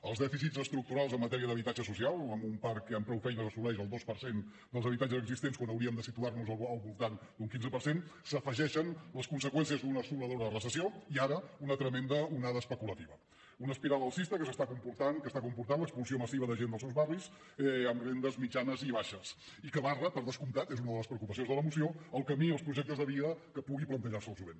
als dèficits estructurals en matèria d’habitatge social amb un parc que amb prou feines assoleix el dos per cent dels habitatges existents quan hauríem de situar nos al voltant d’un quinze per cent s’hi afegeixen les conseqüències d’una assoladora recessió i ara una tremenda onada especulativa una espiral alcista que està comportant l’expulsió massiva de gent dels seus barris amb rendes mitjanes i baixes i que barra per descomptat és una de les preocupacions de la moció el camí i els projectes de vida que pugui plantejar se el jovent